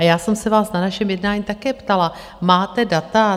A já jsem se vás na našem jednání také ptala: máte data?